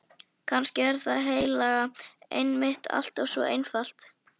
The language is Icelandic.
Kannski er það heilaga einmitt alltaf svo einfalt.